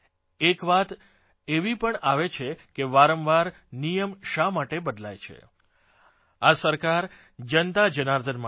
એક વાત એવી પણ આવે છે કે વારંવાર નિયમ શા માટે બદલાય છે આ સરકાર જનતાજનાર્દન માટે છે